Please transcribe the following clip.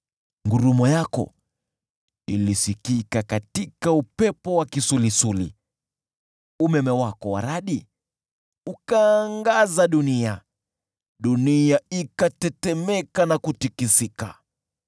Ngurumo yako ilisikika katika upepo wa kisulisuli, umeme wako wa radi ukaangaza dunia, nchi ikatetemeka na kutikisika.